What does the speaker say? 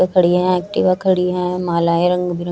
खड़ी है एक्टिवा खड़ी है मालाएं रंग बिरं--